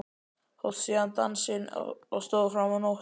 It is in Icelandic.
Síðan hófst dansinn og stóð fram á nótt.